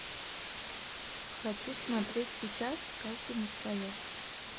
хочу смотреть сейчас каждому свое